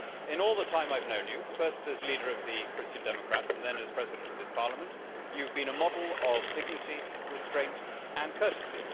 In all the time I have known you, first as leader of the Christian Democrats and then as President of this Parliament, you have been a model of dignity, restraint and courtesy.